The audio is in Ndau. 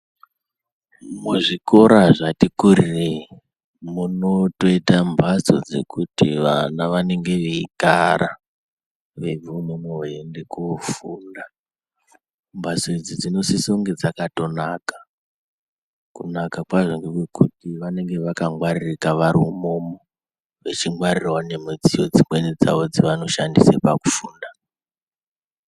Muzvikora zvati kurirei munotoita mhatso dzekuti vana vanenge veigara veibva umwomwo veienda koofunda. Mhatso idzi dzinosise kunga dzakatonaka. Kunaka kwadzo ngekwekuti vanenge vakatongwaririka vari imomo. Vachingwarirawo nemudziyo dzimweni dzavo dzavanoshandisa pakufunda.